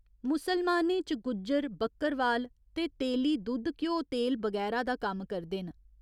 मुसलमानें च गुज्जर, बक्करवाल ते तेली, दुद्ध घ्यो तेल बगैरा दा कम्म करदे न।